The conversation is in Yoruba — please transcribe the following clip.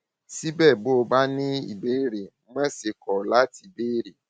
síbẹ bó o bá ní ìbéèrè má ṣe kọ láti béèrè